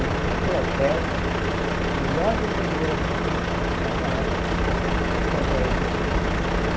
E ganhei um troféu da melhor vendedora daquele daquela campanha.